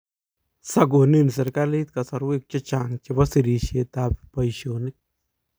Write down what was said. sakoni serikalit kasarwek che chang chebo serisietab boisionik